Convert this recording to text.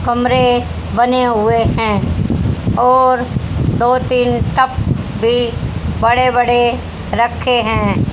कमरे बने हुए हैं और दो तीन टब भी बड़े बड़े रखे हैं।